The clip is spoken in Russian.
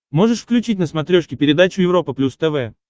можешь включить на смотрешке передачу европа плюс тв